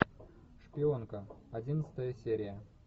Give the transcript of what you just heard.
шпионка одиннадцатая серия